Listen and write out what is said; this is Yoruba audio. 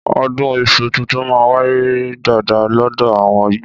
Ọ̀dún ìsú títùn mà ń wàyé dàdá lọdọ àwon igbo